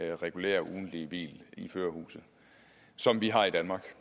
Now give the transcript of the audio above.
det regulære ugentlige hvil i førerhuset som vi har i danmark